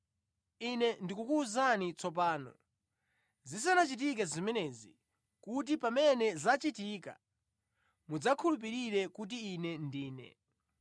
“Ine ndikukuwuzani tsopano zisanachitike zimenezi, kuti pamene zachitika, mudzakhulupirire kuti Ine Ndine.